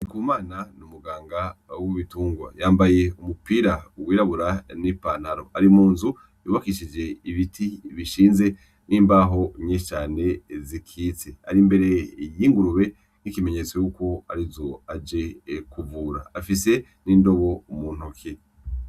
Ndikumana ni umuganga w'ibitungwa yambaye umupira wirabura na ipantalo ari munzu yubakishije ibiti bishinze na imbahu nyinshi cane zikitse ari imbere y'ingurube nka ikimenyetso cuko arizo aje kuvura afise n'indobo muntoke.